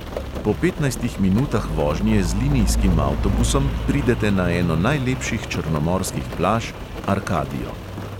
Po petnajstih minutah vožnje z linijskim avtobusom pridete na eno najlepših črnomorskih plaž – arkadijo.